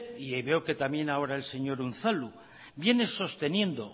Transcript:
y veo que también ahora el señor unzalu viene sosteniendo